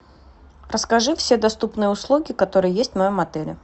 расскажи все доступные услуги которые есть в моем отеле